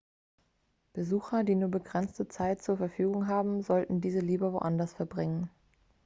besucher die nur begrenzte zeit zur verfügung haben sollten diese lieber anderswo verbringen